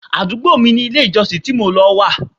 Àdúgbò mi ni ilé ìjọsìn tí mò ń lọ wà.